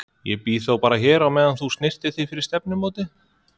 Ég bíð þá bara hér á meðan þú snyrtir þig fyrir stefnumótið.